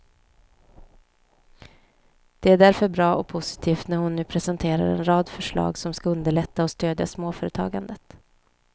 Det är därför bra och positivt när hon nu presenterar en rad förslag som skall underlätta och stödja småföretagandet.